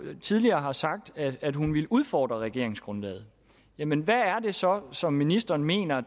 tidligere har sagt at hun vil udfordre regeringsgrundlaget jamen hvad er det så så ministeren mener